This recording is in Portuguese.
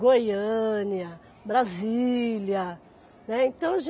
Goiânia, Brasília, né então a